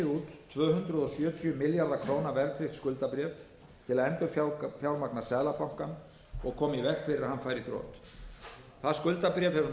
tvö hundruð sjötíu milljarða króna verðtryggt skuldabréf til að endurfjármagna seðlabankann og koma í veg fyrir að hann færi í þrot það skuldabréf hefur nú verið